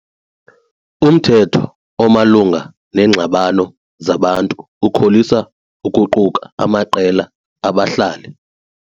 Umthetho omalunga neengxabano zabantu ukholisa ukuquka amaqela abahlali.